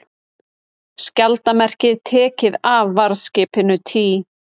Skjaldarmerkið tekið af varðskipinu Tý